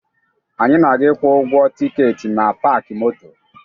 Anyị na-aga ịkwụ ụgwọ tikeeti na paakị moto